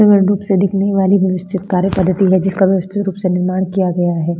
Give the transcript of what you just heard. विभिन्न रूप से दिखने वाली व्यवस्थित कार्य पद्धति है जिसका व्यवस्थित रूप से निर्माण किया गया है।